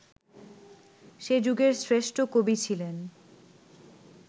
সে যুগের শ্রেষ্ঠ কবি ছিলেন